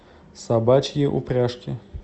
собачьи упряжки